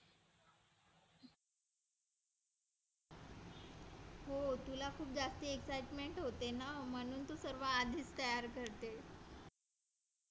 हो तुला खूप जास्ती excitement होते ना म्हणून तू सर्व आधीच तयार करते